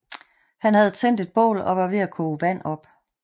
Han havde tændt et bål og var ved at koge vand op